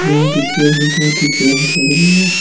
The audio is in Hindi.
यहां की चेयर भि बहुत ही प्यारी लग रही है।